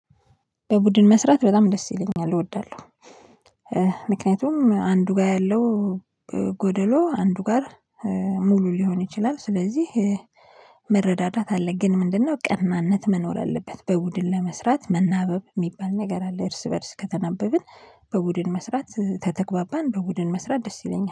በቡድን መስራት በጣም ደስ ይለኛል እወዳለሁ። ምክንያቱም አንዱ ጋር ያለው ጎደሎ አንዱ ጋር ሙሉ ሊሆን ይችላል፤። ስለዚህ መረዳዳት አለ። ግን ምንድነው ቀናነት መኖር አለበት። በቡድን ለመስራት መናበብ የሚባል ነገር አለ። እርስ በእርስ ከተናበብን በቡድን መስራት ተተግባባን በቡድን መስራት ደስ ይለኛል